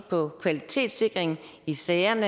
på kvalitetssikringen i sagerne